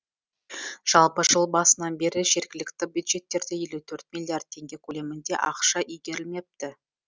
жалпы жыл басынан бері жергілікті бюджеттерде елу төрт миллиард теңге көлемінде ақша игерілмепті